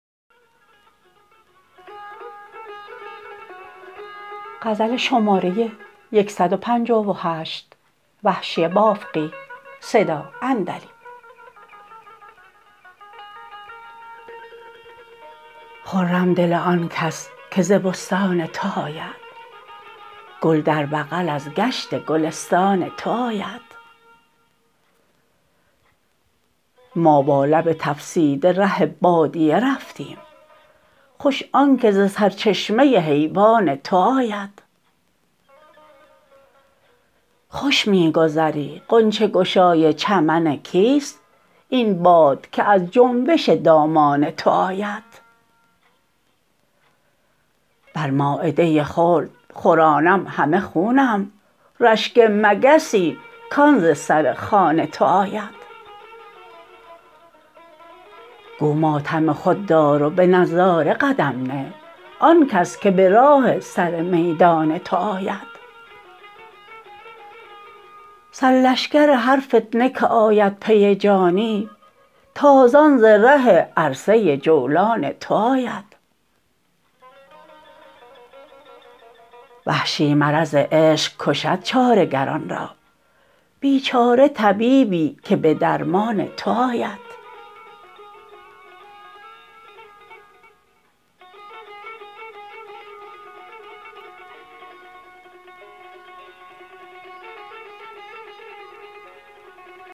خرم دل آن کس که ز بستان تو آید گل در بغل از گشت گلستان تو آید ما با لب تفسیده ره بادیه رفتیم خوش آنکه ز سرچشمه حیوان تو آید خوش می گذری غنچه گشای چمن کیست این باد که از جنبش دامان تو آید بر مایده خلد خورانم همه خونم رشک مگسی کان ز سر خوان تو آید گو ماتم خود دار و به نظاره قدم نه آنکس که به راه سر میدان تو آید سر لشکر هر فتنه که آید پی جانی تازان ز ره عرصه جولان تو آید وحشی مرض عشق کشد چاره گران را بیچاره طبیبی که به درمان تو آید